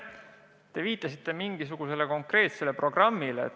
Te viitasite mingisugusele konkreetsele programmile.